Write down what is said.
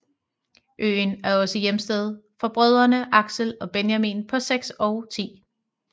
Øen er også hjemsted for brødrene Axel og Benjamin på 6 og 10